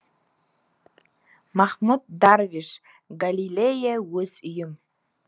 махмуд дарвиш галилея өз үйім